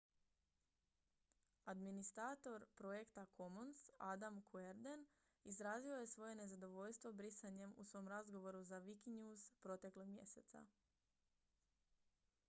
administrator projekta commons adam cuerden izrazio je svoje nezadovoljstvo brisanjem u svom razgovoru za wikinews proteklog mjeseca